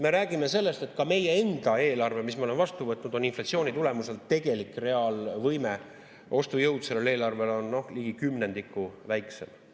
Me räägime sellest, et ka meie enda eelarvel, mis me oleme vastu võtnud, on inflatsiooni tulemusel tegelik ostujõud ligi kümnendiku väiksem.